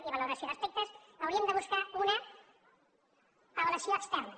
i de valoració d’aspectes hauríem de buscar una avaluació externa